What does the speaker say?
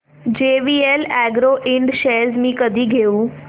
JVL Agro Ind shares मी कधी घेऊ